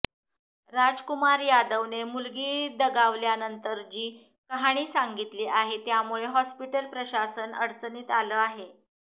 राजकुमार यादवने मुलगी दगावल्यानंतर जी कहाणी सांगितली आहे त्यामुळे हॉस्पीटल प्रशासन अडचणीत आलं आहे